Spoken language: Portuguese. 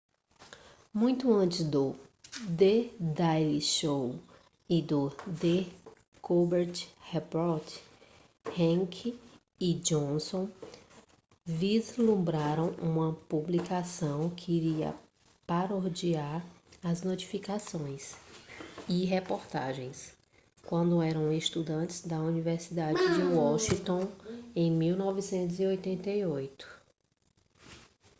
muito antes do the daily show e do the colbert report heck e johnson vislumbraram uma publicação que iria parodiar as notícias e reportagens quando eram estudantes na universidade de washington em 1988